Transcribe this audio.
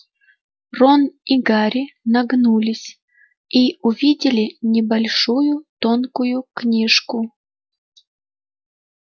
рон и гарри нагнулись и увидели небольшую тонкую книжку